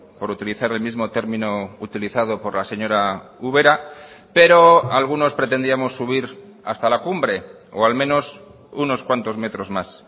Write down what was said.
por utilizar el mismo término utilizado por la señora ubera pero algunos pretendíamos subir hasta la cumbre o al menos unos cuantos metros más